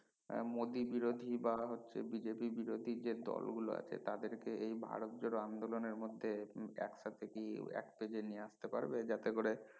আহ মোদি বিরোধী বা হচ্ছে BJP বিরোধী যে দল গুলো আছে তাদের কে এই ভারত জোড়ো আন্দোলনের মধ্যে একসাথে কি এক পেজে নিয়ে আসতে পারবে যাতে করে